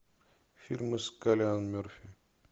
фильмы с киллиан мерфи